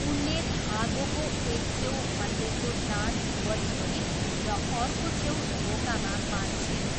उनले धागोको एक छेउ हल्लेको दाँत वरिपरि र अर्को छेउ ढोकामा बाँध्छिन्।